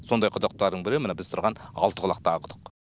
сондай құдықтардың бірі мына біз тұрған алтықұлақтағы құдық